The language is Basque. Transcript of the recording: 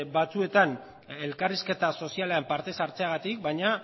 batzuetan elkarrizketa sozialean parte ez hartzeagatik baina